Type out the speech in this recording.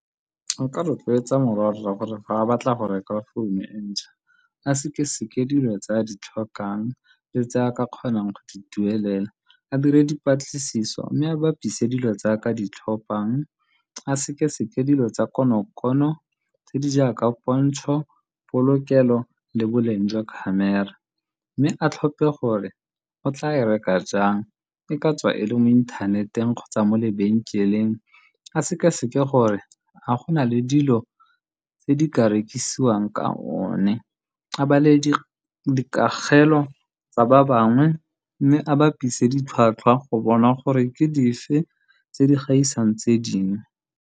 Nka rotloetsa morwa rra gore, fa a batla go reka founo e ntšha, a sekaseke dilo tse a di tlhokang le tse a ka kgonang go di duelela. A dire dipatlisiso, mme bapise dilo tse a ka di tlhophang. A sekaseke dilo tsa konokono tse di jaaka pontsho, polokelo le boleng jwa khamera, mme a tlhophe gore o tla e reka jang, e ka tswa e le mo inthaneteng kgotsa mo lebenkeleng. A sekaseke gore a go nale dilo tse di ka rekisiwang ka yone, a bale dikakgelo tsa ba bangwe mme a bapise ditlhwatlhwa go bona gore ke dife tse di gaisang tse dingwe.